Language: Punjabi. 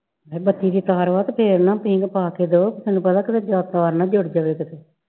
ਹਏ ਬੱਤੀ ਦੀ ਤਾਰ ਵਾ ਤੇ ਫਿਰ ਨਾ ਪੀਂਘ ਨਾ ਪਾ ਕੇ ਦੋ ਤੈਨੂੰ ਪਤਾ ਕਿਤੇ ਤਾਰ ਨਾ ਜੁੜ ਜਾਵੇ ਕਿਤੇ